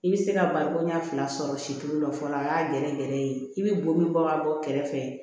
I bɛ se ka baloko ɲɛf'a sɔrɔ situlu dɔ fɔlɔ a y'a gɛrɛ gɛrɛ ye i bɛ bɔ min bɔ ka bɔ kɛrɛfɛ